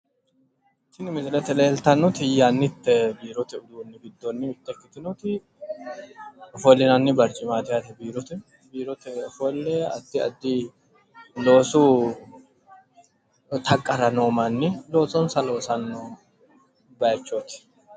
Tini misilete leeltannoti yannite biirote uduunni giddonni mitte ikkitinnoti ofollinanni barcimaati yaate biirote. Biirote ofolle addi addi taqqara loosanno manni horoonsirannote yaate.